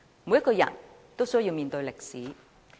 每個人也需要面對歷史。